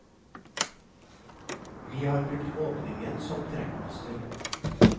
Vi har brukt åpningen som trekkplaster.